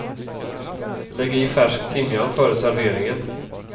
Lägg i färsk timjan före serveringen.